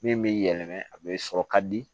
Min bɛ yɛlɛma a bɛ sɔrɔ ka di